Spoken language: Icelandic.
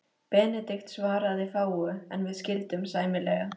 Benedikt svaraði fáu, en við skildum sæmilega.